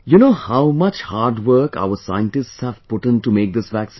You know, how much hard work our scientists have put in to make this vaccine